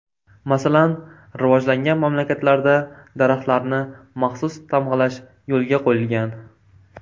Masalan, rivojlangan mamlakatlarda daraxtlarni maxsus tamg‘alash yo‘lga qo‘yilgan.